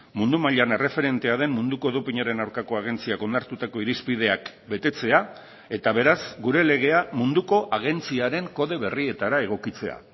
mundu mailan erreferentea den munduko dopinaren aurkako agentziak onartutako irizpideak betetzea eta beraz gure legea munduko agentziaren kode berrietara egokitzea